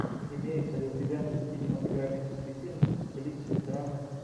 имеется ли у тебя кинематографический фильм в стилистике драмы